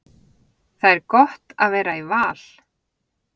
Það er gott að vera í Val.